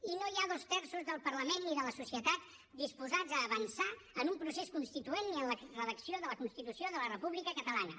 i no hi ha dos terços del parlament ni de la societat disposats a avançar en un procés constituent ni en la redacció de la constitució de la república catalana